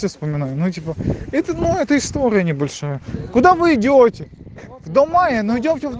соня ну типа это но эта история небольшая куда вы идёте вдоль мая мы идём